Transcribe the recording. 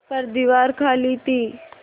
पर दीवार खाली थी